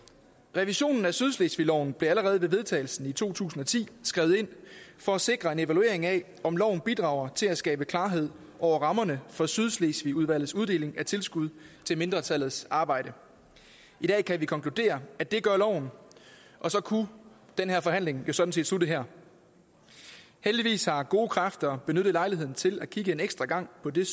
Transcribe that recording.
revisionen af sydslesvigloven blev allerede ved vedtagelsen i to tusind og ti skrevet ind for at sikre en evaluering af om loven bidrager til at skabe klarhed over rammerne for sydslesvigudvalgets uddeling af tilskud til mindretallets arbejde i dag kan vi konkludere at det gør loven og så kunne den her forhandling jo sådan set slutte her heldigvis har gode kræfter benyttet lejligheden til at kigge en ekstra gang på det